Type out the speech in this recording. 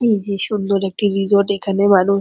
এই যে সুন্দর একটি রিসোর্ট এখানে মানুষ--